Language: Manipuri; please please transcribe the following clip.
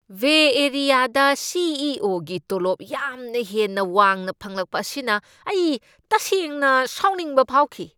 ꯕꯦ ꯑꯦꯔꯤꯌꯥꯗ ꯁꯤ. ꯏ. ꯑꯣ. ꯒꯤ ꯇꯣꯂꯣꯞ ꯌꯥꯝꯅ ꯍꯦꯟꯅ ꯋꯥꯡꯅ ꯐꯪꯂꯛꯄ ꯑꯁꯤꯅ ꯑꯩ ꯇꯁꯦꯡꯅ ꯁꯥꯎꯅꯤꯡꯕ ꯐꯥꯎꯈꯤ ꯫